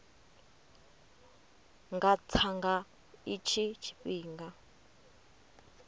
nga tsa nga itshi tshifhinga